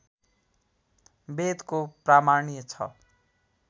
वेदको प्रामाण्य छ